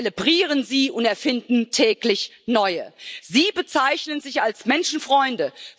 Sie zelebrieren sie und erfinden täglich neue. Sie bezeichnen sich als Menschenfreunde.